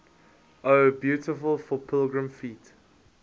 o beautiful for pilgrim feet